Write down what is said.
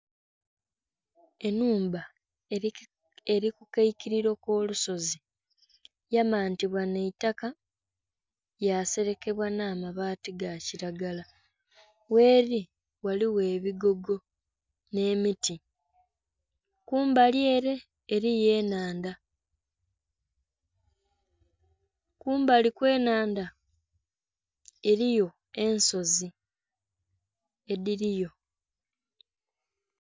Enhumba eri kukaikiliro kolusozi yamantibwa naitaka yaselekebwa n' abaati ga kilagara gheeli ghaliwo ebigogo n'emiti kumbali ere eliyo enhandha kumbali kw'enhandha eliyo ensozi edhiliyo.